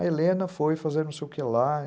A Helena foi fazer não sei o que lá.